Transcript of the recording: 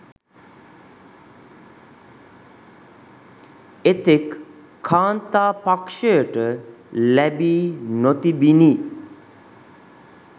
එතෙක් කාන්තා පක්‍ෂයට ලැබී නොතිබිණි.